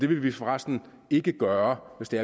vil forresten ikke gøre det